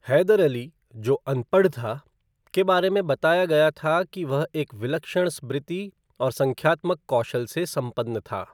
हैदर अली, जो अनपढ़ था, के बारे में बताया गया था कि वह एक विलक्षण स्मृति और संख्यात्मक कौशल से संपन्न था।